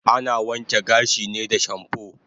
Ana wanke gashi ne da shampoo